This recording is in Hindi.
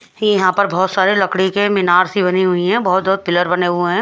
ये यहां पर बहुत सारे लकड़ी के मीनार सी बनी हुई हैं बहुत बहुत पिलर बने हुए हैं।